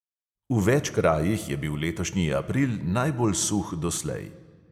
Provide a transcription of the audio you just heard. V več krajih je bil letošnji april najbolj suh doslej.